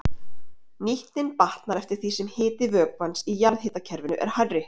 Nýtnin batnar eftir því sem hiti vökvans í jarðhitakerfinu er hærri.